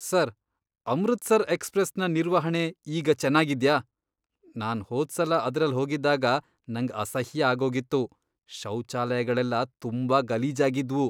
Sir, Amritsar ಎಕ್ಸ್ಪ್ರೆಸ್ನ ನಿರ್ವಹಣೆ ಈಗ ಚೆನ್ನಾಗಿದ್ಯಾ? ನಾನ್ ಹೋದ್ಸಲ ಅದ್ರಲ್ ಹೋಗಿದ್ದಾಗ ನಂಗ್ ಅಸಹ್ಯ ಆಗೋಗಿತ್ತು. ಶೌಚಾಲಯಗಳೆಲ್ಲ ತುಂಬಾ ಗಲೀಜಾಗಿದ್ವು.